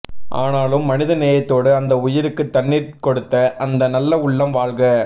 அனாலும் மனித நேயத்தோடு அந்த உயிருக்கு தண்ணீர் கொடுத்த அந்த நல்ல உள்ளம் வாழ்க